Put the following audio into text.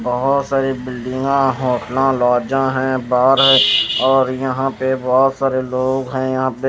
बहुत सारी बिल्डिंग आ है अपला ज़ा हैं बार है और यहां पे बहुत सारे लोग हैं यहां --